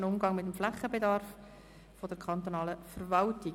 «Haushälterischer Umgang mit dem Flächenbedarf der kantonalen Verwaltung».